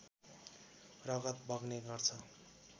रगत बग्ने गर्छ